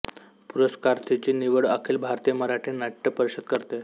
पुरस्कारार्थीची निवड अखिल भारतीय मराठी नाट्य परिषद करते